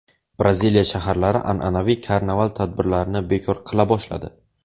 Braziliya shaharlari an’anaviy karnaval tadbirlarini bekor qila boshladi.